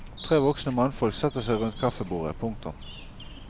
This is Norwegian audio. Tre voksne mannfolk setter seg rundt kaffebordet. punktum